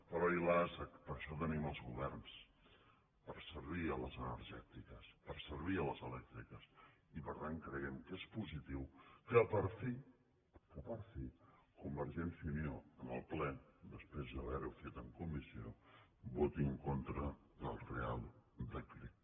però ai las per això tenim els governs per servir les energètiques per servir les elèctriques i per tant creiem que és positiu que per fi que per fi convergència i unió en el ple després d’haver ho fet en comissió voti en contra del reial decret